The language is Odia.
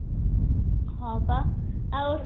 ହଁ ପା ଆଉ